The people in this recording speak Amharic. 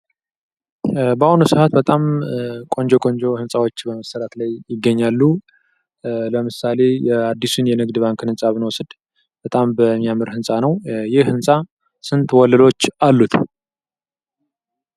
በአሁኑ ሰአት በጣም ቆንጆ ቆንጆ ህንጻዎች በመሰራት ላይ ይገኛሉ። ለምሳሌ አድሱን የንግድ ባንክን ህንጻ ብንወስድ በጣም የሚያምር ህንጻ ነው። ይህ ህንጻ ስንት ወለሎች አሉት?